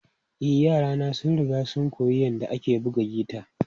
E, yarana sun riga sun koyi yadda ake buga gita.